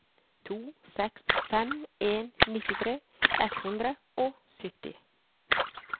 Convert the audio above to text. to seks fem en nittitre ett hundre og sytti